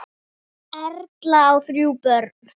Erla á þrjú börn.